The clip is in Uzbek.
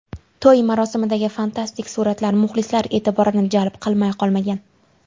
To‘y marosimidagi fantastik suratlar muxlislar e’tiborini jalb qilmay qolmagan.